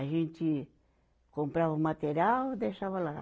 A gente comprava o material e deixava lá.